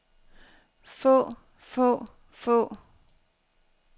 få få få